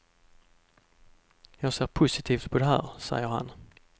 Jag ser positivt på det här, säger han.